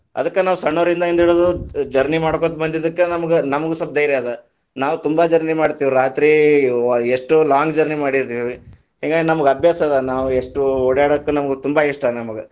ಅದಕ ನಾವು ಸಣ್ಣೋರಿಂದಾಗಿಂದ ಹಿಡಿದು journey ಮಾಡಕೋತ ಬಂದಿದಕ್ಕ ನಮಗ್~ ನಮಗೂ ಸ್ವಲ್ಪ ಧೈಯ೯ ಅದ, ನಾವ ತುಂಬಾ journey ಮಾಡಿತೇವಿ, ರಾತ್ರಿ ಎಷ್ಟೋ long journey ಮಾಡಿದಿವಿ, ಹಿಂಗಾಗಿ ನಮಗ ಅಭ್ಯಾಸ ಅದ, ನಾವ್‌ ಎಷ್ಟೋ ಓಡ್ಯಾಡಾಕ ನಾವ್ ತುಂಬಾ ಇಷ್ಟ ನಮಗ.